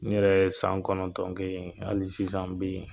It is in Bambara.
Ne yɛrɛ ye san kɔnɔntɔn kɛ yen. Hali sisan n be ye.